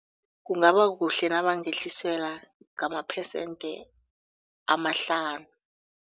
Kungabakuhle nabangehliselwa ngamaphesende amahlanu.